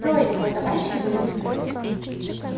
трое его товарищей были внутри